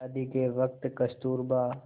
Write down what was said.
शादी के वक़्त कस्तूरबा